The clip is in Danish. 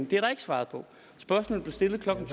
det er der ikke svaret på spørgsmålet blev stillet klokken